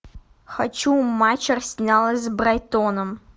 хочу матч арсенала с брайтоном